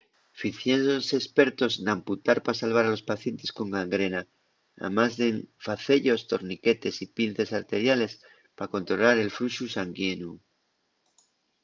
ficiéronse espertos n'amputar pa salvar a los pacientes con gangrena amás d'en face-yos torniquetes y pinces arteriales pa controlar el fluxu sanguineu